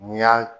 N'i y'a